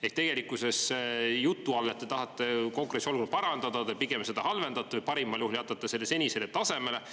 Ehk tegelikkuses jutu all, et te tahate konkurentsiolukorda parandada, te pigem seda halvendate, parimal juhul jätate selle senisele tasemele.